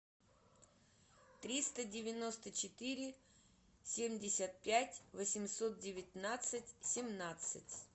триста девяносто четыре семьдесят пять восемьсот девятнадцать семнадцать